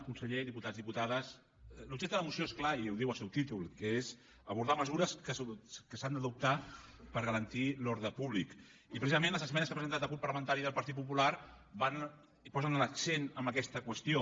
conseller diputats diputades l’objecte de la moció és clar i ho diu el seu títol que és abordar mesures que s’han d’adoptar per garantir l’ordre públic i precisament les esmenes que ha presentat el grup parlamentari del partit popular posen l’accent en aquesta qüestió